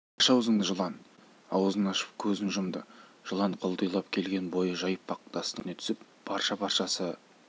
аш аузыңды жылан аузын ашып көзін жұмды жылан құлдилап келген бойы жайпақ тастың үстіне түсіп парша-паршасы